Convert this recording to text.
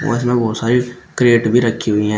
और इसमें बहुत सारी क्रेट भी रखी हुई हैं।